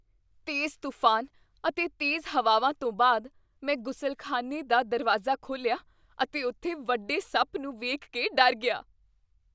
ਤੇਜ਼ ਤੂਫਾਨ ਅਤੇ ਤੇਜ਼ ਹਵਾਵਾਂ ਤੋਂ ਬਾਅਦ, ਮੈਂ ਗੁਸਲਖ਼ਾਨੇ ਦਾ ਦਰਵਾਜ਼ਾ ਖੋਲ੍ਹਿਆ ਅਤੇ ਉੱਥੇ ਵੱਡੇ ਸੱਪ ਨੂੰ ਵੇਖ ਕੇ ਡਰ ਗਿਆ।